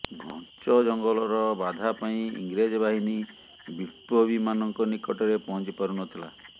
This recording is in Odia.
ଘଞ୍ଚ ଜଙ୍ଗଲର ବାଧା ପାଇଁ ଇଂରେଜ ବାହିନୀ ବିପ୍ଲବୀମାନଙ୍କ ନିକଟରେ ପହଂଚି ପାରୁନଥିଲା